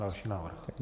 Další návrh.